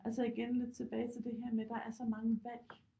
Altså igen lidt tilbage til det her med der er så mange valg